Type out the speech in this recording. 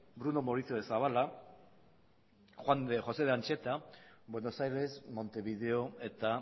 bruno mauricio de zabala eta juan de josé ancheta buenos aires montevideo eta